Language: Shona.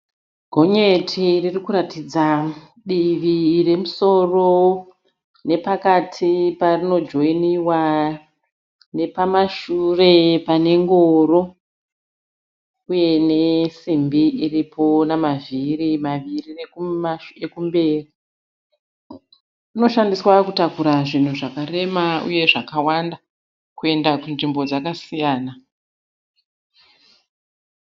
Gonyeti ririkuratidza divi remusoro nepakati parino joiniwa, nepamashure pane ngoro uye nesimbi iripo namavhiri maviri ekumberi. Rinoshandiswa kutakura zvinhu zvakarema uye zvakawanda kuyenda kunzvimbo dzakasiyana.